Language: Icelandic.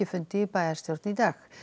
fundi í bæjarstjórn í dag